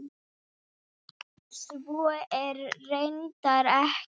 Svo er reyndar ekki.